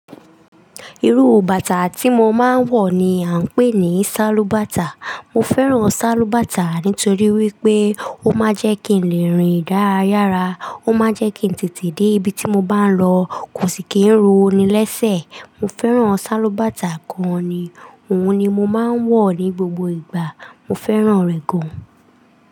Irú bàtà tí mo máa ń wọ̀ ni à ń pè ní sálúbàtà. Mo fẹ́ràn sálúbàtà nítorí wípé ó máa ń jẹ́ kí ń le rin dárayára, ó máa ń jẹ́ kí ń tètè dé ibi tí mo bá ń lọ, kò sì kí ń ro ni lẹ́sẹ̀. Mo fẹ́ràn sálúbàtà gan ni, òun ni mo máa ń wọ̀ ní gbogbo ìgbà. Mo fẹ́ràn rẹ̀ gan.